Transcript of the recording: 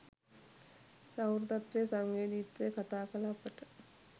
සහෘදත්වය සංවේදීත්වය කතා කළ අපට